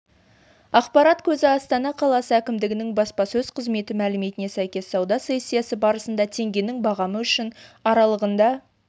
ақпарат көзі астана қаласы әкімдігінің баспасөз қызметі мәліметіне сәйкес сауда сессиясы барысында теңгенің бағамы үшін аралығында